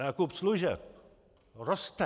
Nákup služeb roste.